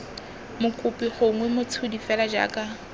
mokopi gongwe motshodi fela jaaka